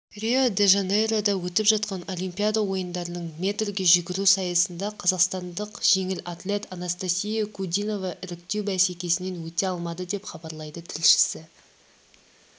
рио-де-жанейрода өтіп жатқан олимпиада ойындарының метрге жүгіру сайысында қазақстандық жеңіл атлет анастасия кудинова іріктеу бәсекесінен өте алмады деп хабарлайды тілшісі